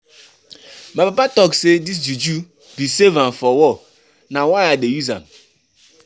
My papa talk sey dis juju bin save am for war, na why I dey use am.